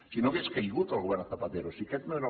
si no hauria caigut el govern de zapatero si aquest no era